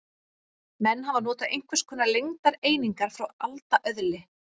Menn hafa notað einhvers konar lengdareiningar frá alda öðli.